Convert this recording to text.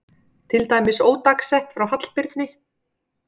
Til dæmis ódagsett frá Hallbirni